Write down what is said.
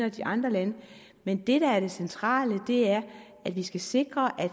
i de andre lande men det der er det centrale er at vi skal sikre at